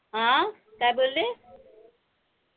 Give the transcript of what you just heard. अं काय बोलले?